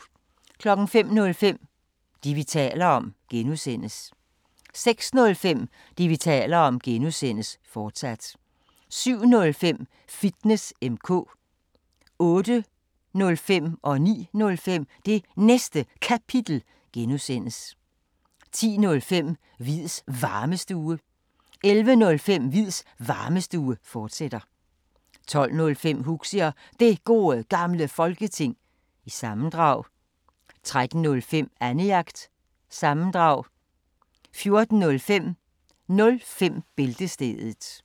05:05: Det, vi taler om (G) 06:05: Det, vi taler om (G), fortsat 07:05: Fitness M/K 08:05: Det Næste Kapitel (G) 09:05: Det Næste Kapitel (G) 10:05: Hviids Varmestue 11:05: Hviids Varmestue, fortsat 12:05: Huxi og Det Gode Gamle Folketing, sammendrag 13:05: Annejagt – sammendrag 14:05: 05 Bæltestedet